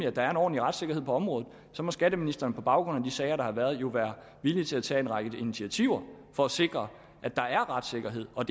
at der er en ordentlig retssikkerhed på området så må skatteministeren på baggrund af de sager der har været være villig til at tage en række initiativer for at sikre at der er retssikkerhed og